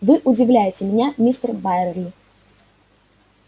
вы удивляете меня мистер байерли